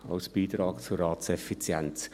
dies als Beitrag zur Ratseffizienz.